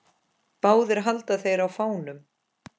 Báðir halda þeir á fánum.